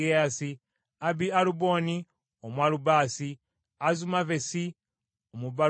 Abi-Aluboni Omwalubasi, ne Azumavesi Omubalukumi,